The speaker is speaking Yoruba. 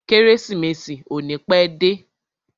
Kérésìmesì ò ní pẹ́ dé.